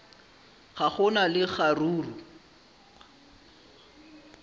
ga go na le kgaruru